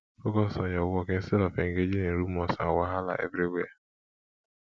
focus on your work instead of engaging in rumors and wahala everywhere